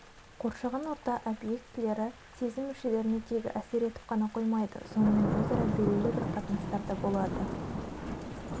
қоршаған орта объектілері сезім мүшелеріне тек әсер етіп қана қоймайды сонымен өзара белгілі бір қатынастарда болады